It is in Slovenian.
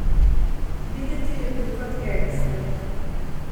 Videti je bil kot gangster.